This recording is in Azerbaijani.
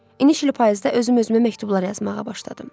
İnişli payızda özüm özümə məktublar yazmağa başladım.